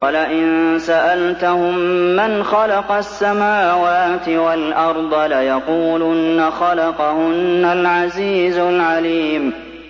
وَلَئِن سَأَلْتَهُم مَّنْ خَلَقَ السَّمَاوَاتِ وَالْأَرْضَ لَيَقُولُنَّ خَلَقَهُنَّ الْعَزِيزُ الْعَلِيمُ